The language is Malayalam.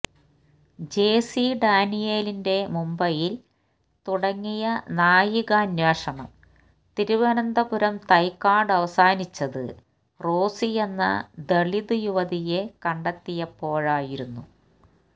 ജെ സി ഡാനിയേലിന്റെ മുംബൈയില് തുടങ്ങിയ നായികാന്വേഷണം തിരുവനന്തപുരം തൈക്കാട് അവസാനിച്ചത് റോസിയെന്ന ദലിത് യുവതിയെ കണ്ടെത്തിയപ്പോഴായിരുന്നു